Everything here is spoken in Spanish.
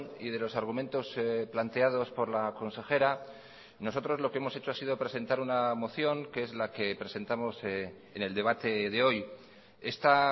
y de los argumentos planteados por la consejera nosotros lo que hemos hecho ha sido presentar una moción que es la que presentamos en el debate de hoy esta